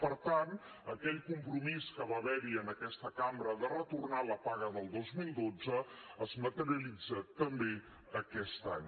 per tant aquell compromís que va haver hi en aquesta cambra de retornar la paga del dos mil dotze es materialitza també aquest any